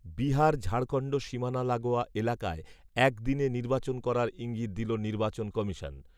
বিহার ঝাড়খণ্ড সীমানা লাগোয়া এলাকায় এক দিনে নির্বাচন করার ঈঙ্গিত দিল নির্বাচন কমিশন